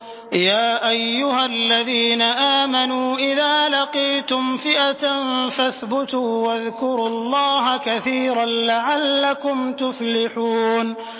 يَا أَيُّهَا الَّذِينَ آمَنُوا إِذَا لَقِيتُمْ فِئَةً فَاثْبُتُوا وَاذْكُرُوا اللَّهَ كَثِيرًا لَّعَلَّكُمْ تُفْلِحُونَ